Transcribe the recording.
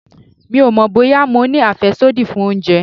Mi ò mọ̀ bóyá mo ní àfẹ́sódì fún oúnjẹ.